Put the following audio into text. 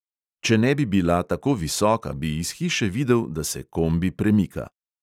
Če ne bi bila tako visoka, bi iz hiše videl, da se kombi premika.